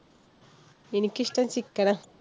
എനിക്ക് ഇഷ്ടം ചിക്കനാ.